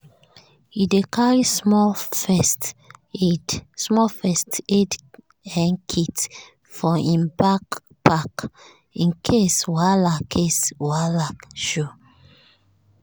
e dey carry small first aid um kit for im backpack in case wahala case wahala show.